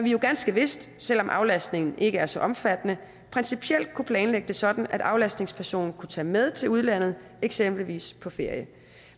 jo ganske vist selv om aflastningen ikke er så omfattende principielt kunne planlægge det sådan at aflastningspersonen kunne tage med til udlandet eksempelvis på ferie